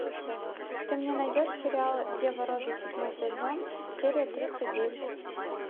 ты мне найдешь сериал дева роза седьмой сезон серия тридцать девять